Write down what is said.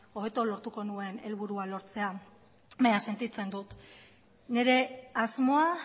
hobeto lortuko nuen helburua lortzea baina sentitzen dut nire asmoa